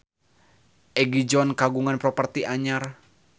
Egi John kagungan properti anyar